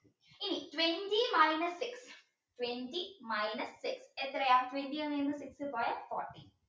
ഇനി twenty minus six twenty minus six എത്രയാ twenty ന്ന് six പോയ fourteen